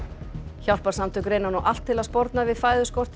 hjálparsamtök reyna nú allt til að sporna við fæðuskorti í